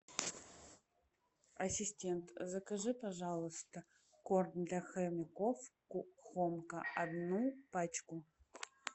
ассистент закажи пожалуйста корм для хомяков хомка одну пачку